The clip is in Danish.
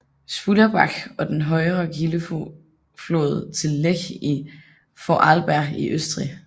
Spullerbach er den højre kildeflod til Lech i Vorarlberg i Østrig